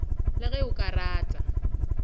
le ge o ka rata